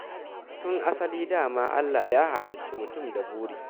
Tun asali da ma Allah Ya halicci mutum da buri.